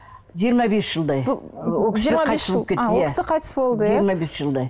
жиырма бес жылдай жиырма бес жыл а ол кісі қайтыс болды иә жиырма бес жылдай